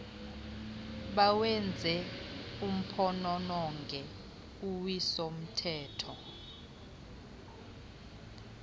bawenze uphonononge uwisomthetho